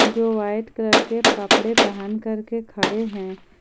जो white colour के कपड़े पहन करके खड़े हैं।